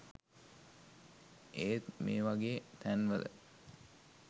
ඒත් මේවගෙ තැන්වල